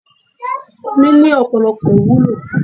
Omi ni Ọ̀pọ̀lọpọ̀ ìwúlò.